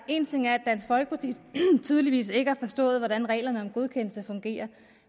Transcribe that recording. en ting er at dansk folkeparti tydeligvis ikke har forstået hvordan reglerne om godkendelse fungerer